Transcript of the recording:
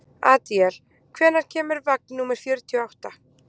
Adíel, hvenær kemur vagn númer fjörutíu og átta?